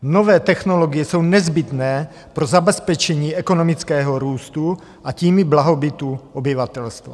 Nové technologie jsou nezbytné pro zabezpečení ekonomického růstu, a tím i blahobytu obyvatelstva.